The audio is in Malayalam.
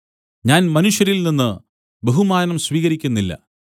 ഞാൻ മനുഷ്യരിൽനിന്ന് ബഹുമാനം സ്വീകരിക്കുന്നില്ല